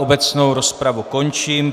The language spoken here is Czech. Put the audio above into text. Obecnou rozpravu končím.